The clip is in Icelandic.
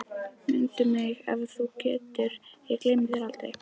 Mundu mig ef þú getur, ég gleymi þér aldrei